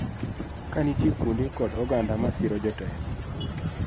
Ka nitie kuonde kod oganda ma siro jotelo